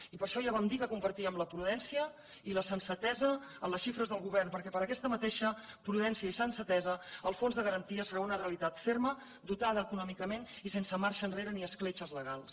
i per això ja vam dir que compartíem la prudència i la sensatesa en les xifres del govern perquè per aquestes mateixes prudència i sensatesa el fons de garantia serà una realitat ferma dotada econòmicament i sense marxa enrere ni escletxes legals